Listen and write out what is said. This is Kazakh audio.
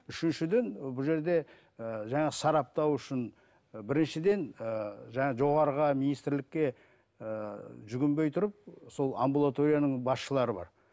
үшіншіден бұл жерде ыыы жаңағы сараптау үшін ы біріншіден ыыы жаңағы жоғарыға министрлікке ыыы жүгінбей тұрып сол амбулаторияның басшылары бар